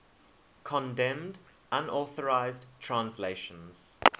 condemned unauthorized translations